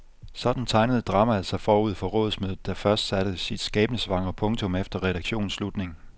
Sådan tegnede dramaet sig forud for rådsmødet, der først satte sit skæbnesvangre punktum efter redaktionens afslutning.